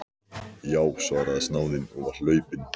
Já, svaraði snáðinn og var hlaupinn.